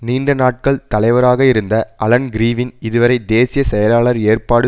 நீண்ட நாட்கள் தலைவராக இருந்த அலன் கிறிவின் இதுவரை தேசிய செயலாளர் ஏற்பாடு